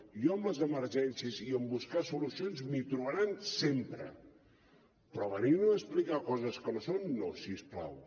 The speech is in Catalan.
jo en les emergències i en buscar solucions m’hi trobaran sempre però venir me a explicar coses que no són no si us plau